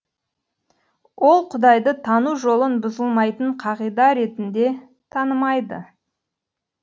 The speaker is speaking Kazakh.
ол құдайды тану жолын бұзылмайтын қағида ретінде танымайды